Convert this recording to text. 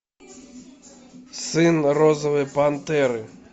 сын розовой пантеры